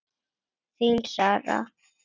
Þín, Sara.